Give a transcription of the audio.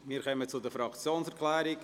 Wir kommen zu den Fraktionserklärungen.